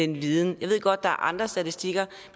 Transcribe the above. viden jeg ved godt er andre statistikker